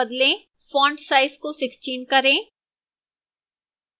font size को 16 करें